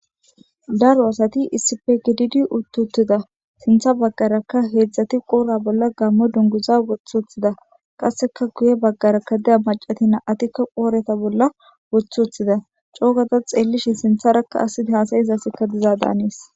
Daro asat issippe gidid utti utida sintha baganka 3ti Qopa bolla gamo dunguza woth utida qaseka guye bagaraka diza macashat 2tiak qoba bolla with utida , co ga ta xelishn sintharaka asiy hasa'iza asiy diza Danes.